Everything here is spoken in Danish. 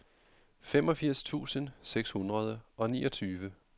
femogfirs tusind seks hundrede og niogtyve